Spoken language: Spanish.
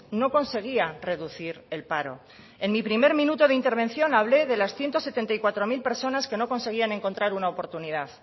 no conseguía reducir el paro en mi primer minuto de intervención hablé de las ciento setenta y cuatro mil personas que no conseguían encontrar una oportunidad